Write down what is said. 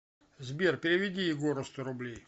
сбер переведи егору сто рублей